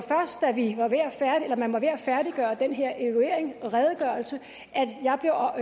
da man var ved at færdiggøre den her evaluering redegørelse